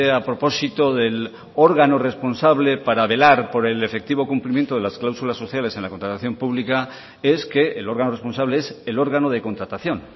a propósito del órgano responsable para velar por el efectivo cumplimiento de las cláusulas sociales en la contratación pública es que el órgano responsable es el órgano de contratación